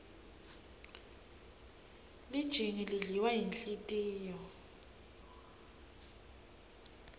lijingi lidliwa yinhlitiyo